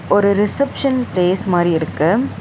ஒரு reception place மாரி இருக்கு.